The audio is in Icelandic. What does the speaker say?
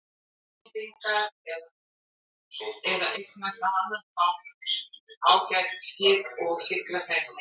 Íslendingar eða eignast á annan hátt ágæt skip og sigla þeim heim.